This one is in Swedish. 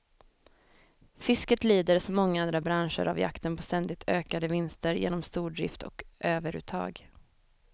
Fisket lider som många andra branscher av jakten på ständigt ökade vinster genom stordrift och överuttag.